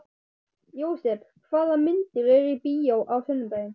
Jósep, hvaða myndir eru í bíó á sunnudaginn?